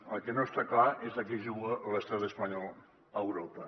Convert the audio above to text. el que no està clar és a què juga l’estat espanyol a europa